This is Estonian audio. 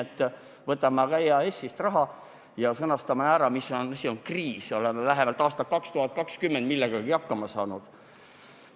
Me võtame EAS-ist raha ja sõnastame, mis on kriis – oleme aastal 2020 millegagi hakkama saanud.